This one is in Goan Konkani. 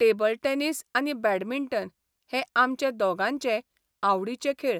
टेबल टॅनिस आनी बॅडमिंटन हे आमचे दोगांचेय आवडीचे खेळ.